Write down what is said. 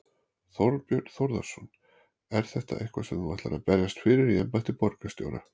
Þorbjörn Þórðarson: Er þetta eitthvað sem þú ætlar að berjast fyrir í embætti borgarstjóra?